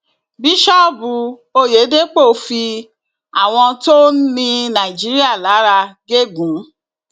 bíṣọọbù oyèdèpọ fi àwọn tó ń ni nàìjíríà lára gégún